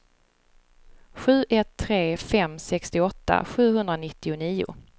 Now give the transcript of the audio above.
sju ett tre fem sextioåtta sjuhundranittionio